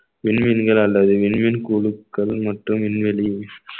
விண்வெளிகள் அல்லது விண்வெண் குழுக்கள் மற்றும் விண்வெளி